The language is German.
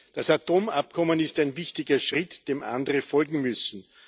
Das Atomabkommen ist ein wichtiger Schritt, dem andere folgen müssen.